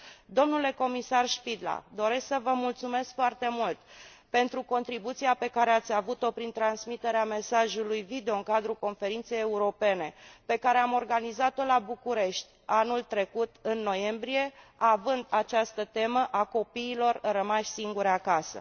Domnule comisar Špidla, doresc să vă mulțumesc foarte mult pentru contribuția pe care ați avut o prin transmiterea mesajului video în cadrul conferinței europene pe care am organizat o la București anul trecut în noiembrie, având această temă, a copiilor rămași singuri acasă.